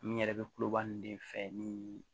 Min yɛrɛ bɛ kuloba nn de fɛ nii